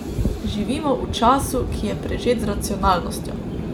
Živimo v času, ki je prežet z racionalnostjo.